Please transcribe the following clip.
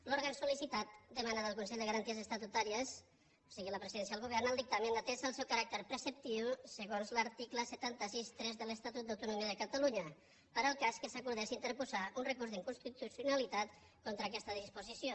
l’òrgan sol·licitat demana del consell de garanties estatutàries o sigui la presidència del govern el dictamen atès el seu caràcter preceptiu segons l’article set cents i seixanta tres de l’estatut d’autonomia de catalunya per al cas que s’acordés interposar un recurs d’inconstitucionalitat contra aquesta disposició